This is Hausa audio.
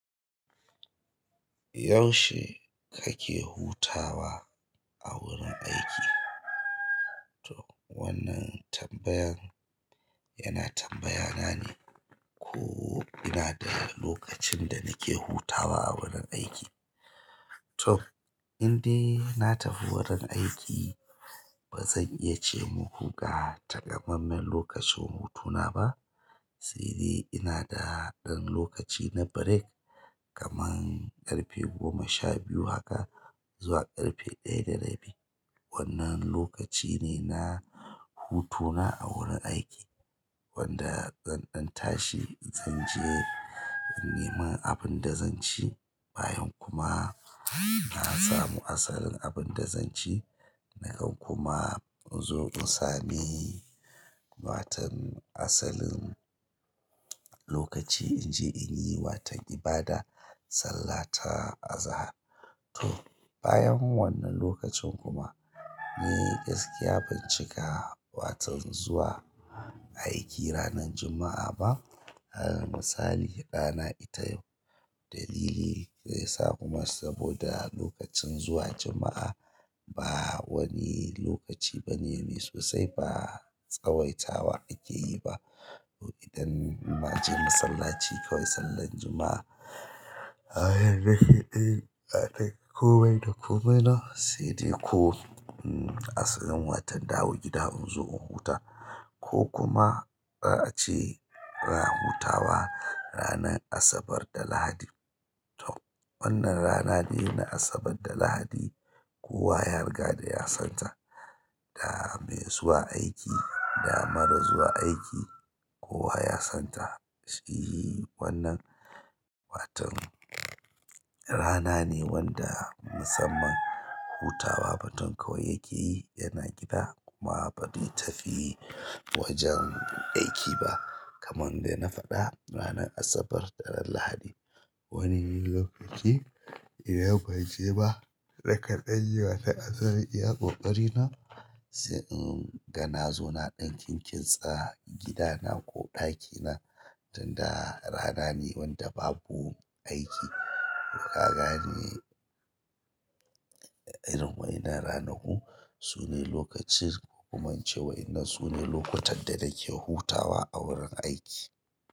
Yaushe kake hutawa a wurin aiki? To wannan tambayan yana tambaya nane ko ina da lokacin da nake hutawa a wurin aiki. To indai na tafi wurin aiki bazan iya ce muku ga takammamen lokacin hutuna ba. Saidai ina da ɗan lokaci na break kaman ƙarfe goma sha biyu haka zuwa ƙarfe ɗaya da rabi. Wannan lokaci ne na hutuna a wurin aiki wanda zan ɗan tashi zan je neman abinda zanci bayan kuma na samu asalin abin da zan ci nakan kuma in zo in sami watan asalin lokaci in je in yi wata ibada sallata azahar. To bayan wannan lokacin kuma ni gaskiya bancika watan zuwa aiki ranar Juma'a ba. A misali ranar aitayau dalili kuma lokacin zuwa juma'a ba wani lokaci bane sosai ba tsawaita wa akeyi ba to idan na je masallaci kawai sallan Juma'a komai da komai na saidai ko asalin watan dawo gida in zo in huta ko kuma za a ce ranara hutawa ranar Asabar da Lahadi. To wannan rana de na Asabar da Lahadi kowa ya riga da ya santa. Da mai zuwa aiki, da marar zuwa aiki kowa ya santa. Shi wannan watan rana ne wanda musamman hutawa mutum kawai yake yi yana gida kuma ba zai tafi wajen aiki ba kaman dai na faɗa ranar Asabar da ran Lahadi. Wani lokaci idan banje ba rakaɗa yi watan asalin iya ƙoƙari na sai in da na zo na ɗan kinkintsa gida na ko ɗakina tunda rana ne wanda babu aiki. Kagane irin waƴanan ranaku sune lokacin hukuman ce wai ina sune lokutan da nake hutawa a wurin aiki.